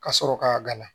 Ka sɔrɔ ka gala